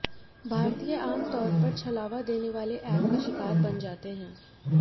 भारतीय आम तौर पर छलावा देने वाले एप का शिकार बन जाते हैं